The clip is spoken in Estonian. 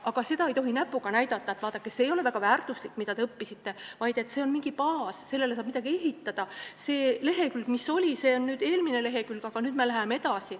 Aga ei tohi näpuga näidata, et vaadake, see ei ole väärtuslik, mida te õppisite, vaid tuleb öelda, et see on mingi baas, sellele saab midagi ehitada, see lehekülg, mis oli, see on eelmine lehekülg, aga nüüd me läheme edasi.